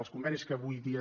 els convenis que avui dia